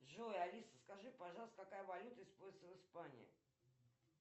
джой алиса скажи пожалуйста какая валюта используется в испании